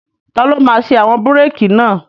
Taló máa ṣe àwọn búrèkì náà?